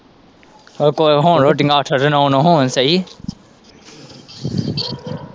ਉਹ ਕੋਹ ਹੋਣ ਰੋਟੀਆਂ ਅੱਠ ਤੇ ਨੌ-ਨੌ ਹੋਣ ਸਹੀ।